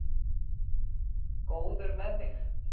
Góður með þig.